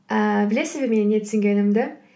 ііі білесіз бе менің не түсінгенімді